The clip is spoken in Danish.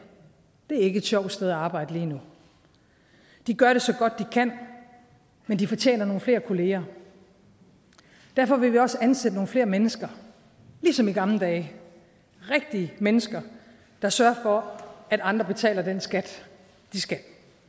det er ikke et sjovt sted at arbejde lige nu de gør det så godt de kan men de fortjener nogle flere kolleger derfor vil vi også ansætte nogle flere mennesker ligesom i gamle dage rigtige mennesker der sørger for at andre betaler den skat de skal